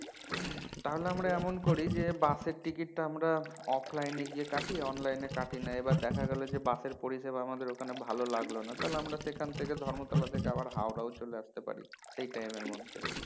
তাহলে আমরা এমন করি যে bus এর টিকিটটি আমরা offline এ গিয়ে কাটি online এ কাটি না এবার দেখা গেলো যে bus এর পরিষেবা আমাদের ওখানে ভালো লাগলো না তাহলে আমরা সেখান থেকে ধর্মতলা থেকে আবার হাওড়া ও চলে আসতে পারি সেই time এর মধ্যে